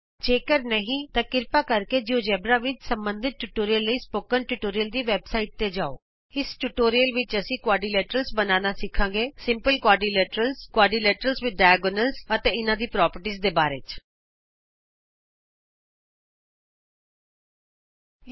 ਜੇ ਕਰ ਨਹੀਂ ਤਾਂ ਕ੍ਰਿਪਾ ਕਰਕੇ ਜਿਉਜੇਬਰਾ ਵਿਚ ਸਬੰਧਤ ਟਿਯੂਟੋਰਿਅਲ ਲਈ ਸਪੋਕਨ ਟਯੂਟੋਰਿਅਲ ਦੀ ਵੈਬਸਾਈਟ ਤੇ ਜਾਉ ਇਸ ਟਯੂਟੋਰਿਅਲ ਵਿਚ ਅਸੀਂ ਚਤੁਰਭੁਜ ਬਣਾਉਣਾ ਸਧਾਰਣ ਚਤੁਰਭੁਜ ਅਤੇ ਵਿਕਰਣ ਨਾਲ ਚਤੁਰਭੁਜ ਬਣਾਉਣਾ ਸਿੱਖਾਂਗੇ ਅਤੇ ਇਹਨਾਂ ਦੇ ਗੁਣਾਂ ਬਾਰੇ ਵੀ ਸਿੱਖਾਂਗੇ